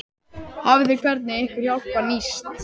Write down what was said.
Hafið þið, hvernig hefur ykkar hjálp nýst?